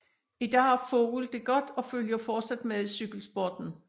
I dag har Vogel det godt og følger fortsat med i cykelsporten